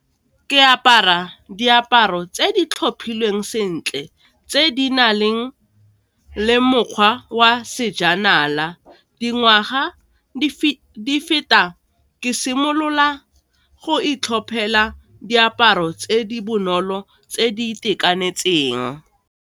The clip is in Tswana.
Ke apara diaparo tse di tlhophilweng sentle tse di na leng le mokgwa wa sejanala, dingwaga di feta ke simolola go itlhophela diaparo tse di bonolo tse di itekanetseng.